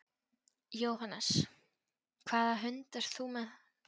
Jóhannes: Hvaða hund ert þú með?